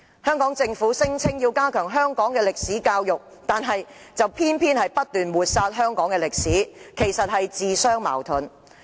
香港政府聲言要加強香港歷史教育，卻偏偏不斷抹煞香港歷史，實在自相矛盾。